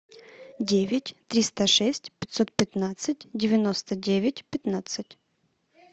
девять триста шесть пятьсот пятнадцать девяносто девять пятнадцать